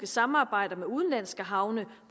samarbejder med udenlandske havne